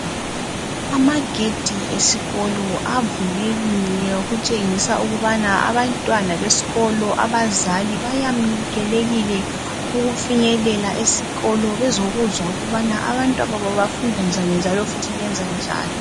Amagedi esikolo avulekile okutshengisa ukubana abantwana besikolo abazali bayamkelekile ukufinyelela esikolo bezokuzwa ukubana abantwababo bafunda njani njalo futhi benza njani.